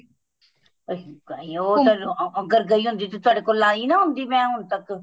ਅਸੀਂ ਉਹ ਅਗਰ ਗਈ ਹੁੰਦੀ ਤਾਂ ਤੁਹਾਡੇ ਕੋਲ ਆਈ ਨਾ ਹੁੰਦੀ ਮੈਂ ਹੁਣ ਤੱਕ